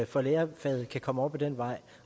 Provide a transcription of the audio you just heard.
for lærerfaget kan komme op ad den vej